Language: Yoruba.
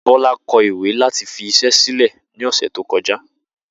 Bó̩lá ko̩ ìwé láti fi is̩é̩ sílè̩ ní ò̩sè̩ tó ko̩já